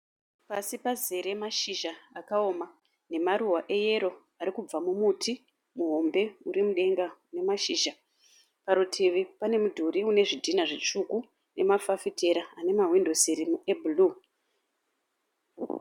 Pasi pazere mashizha akaoma nemaruva eyero, arikubva mumuti muhombe urimudenga unemashizha. Parutivi pane mudhuri une zvidhina zvitsvuku nemafafitera ane mahwindo siri ebhuruwu.